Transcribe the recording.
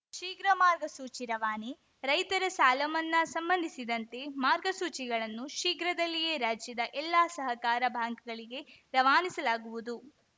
ಶೀಘ್ರ ಮಾರ್ಗಸೂಚಿ ರವಾನೆ ರೈತರ ಸಾಲಮನ್ನಾ ಸಂಬಂಧಿಸಿದಂತೆ ಮಾರ್ಗಸೂಚಿಗಳನ್ನು ಶೀಘ್ರದಲ್ಲಿಯೇ ರಾಜ್ಯದ ಎಲ್ಲಾ ಸಹಕಾರ ಬ್ಯಾಂಕ್‌ಗಳಿಗೆ ರವಾನಿಸಲಾಗುವುದು